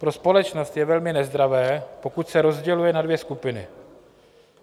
Pro společnost je velmi nezdravé, pokud se rozděluje na dvě skupiny.